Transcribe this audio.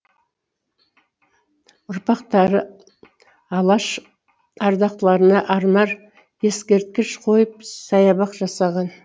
ұрпақтары алаш ардақтыларына арнар ескерткіш қойып саябақ жасаған